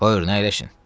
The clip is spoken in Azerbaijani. Buyurun, əyləşin.